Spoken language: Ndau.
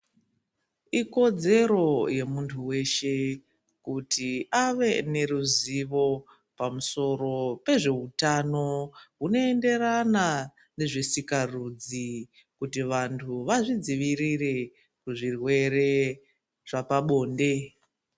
Ikodzero yemuntu weshe kuti Ave neruzivo pamusoro pezveutano hunoenderana nezvesikarudzi kuti vantu vazvidzivirire pazvirwere zvepabonde.